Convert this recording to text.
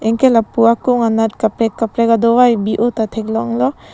anke lapu akung anat kaprek kaprek dovai bi o ta theklong lo.